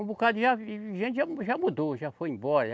Um bocado de já, de gente já mu, já mudou, já foi embora.